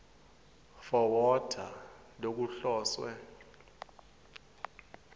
for water lokuhloswe